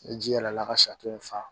Ni ji yɛlɛla ka in fa